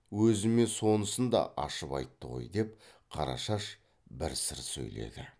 өзіме сонысын да ашып айтты ғой деп қарашаш бір сыр сөйледі